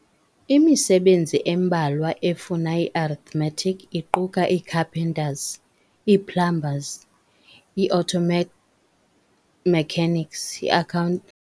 Imisebenzi embalwa efuna i-arithmetic iquka ii-carpenters, ii-plumbers, ii-auto mechanics, ii-account.